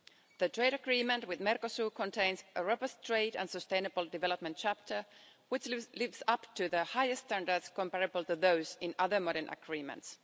The trade agreement with Mercosur contains a robust trade and sustainable development chapter which lives up to the highest standards comparable to those in other modern agreements.